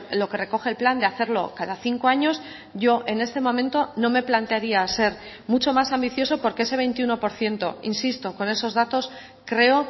lo que recoge el plan de hacerlo cada cinco años yo en este momento no me plantearía ser mucho más ambicioso porque ese veintiuno por ciento insisto con esos datos creo